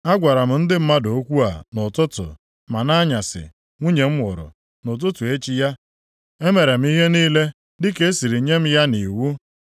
Agwara m ndị mmadụ okwu a nʼụtụtụ, ma nʼanyasị nwunye m nwụrụ. Nʼụtụtụ echi ya, emere m ihe niile dịka e siri nye m ya nʼiwu.